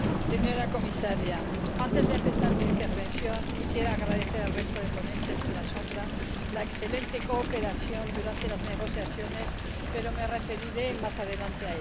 señora comisaria, antes de empezar mi intervención quisiera agradecer al resto de ponentes alternativos la excelente cooperación durante las negociaciones, pero me referiré a ello más adelante.